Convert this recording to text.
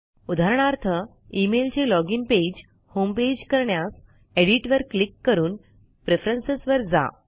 उदाहरणार्थ emailचे login page homepage करण्यास एडिट वर क्लिक करून प्रेफरन्स वर जा